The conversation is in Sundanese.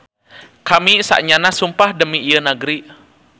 Kami saenyana sumpah demi ieu nagri.